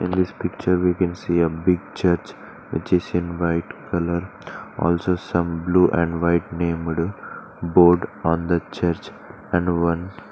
In this picture we can see a big church which is in white colour also some blue and white named board on the church and one.